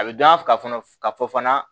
A bɛ dɔn a ka fana ka fɔ fana